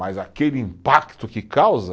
Mas aquele impacto que causa